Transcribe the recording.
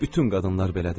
Bütün qadınlar belədir.